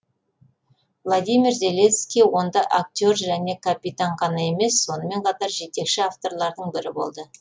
владимир зеленский онда актер және капитан ғана емес сонымен қатар жетекші авторлардың бірі болды